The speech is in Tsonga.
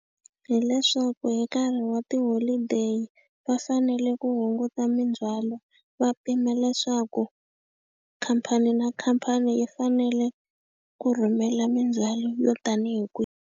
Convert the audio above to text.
Hileswaku hi nkarhi wa tiholideyi va fanele ku hunguta mindzhwalo va pima leswaku, khamphani na khamphani yi fanele ku rhumela mindzhwalo yo tanihi kwihi.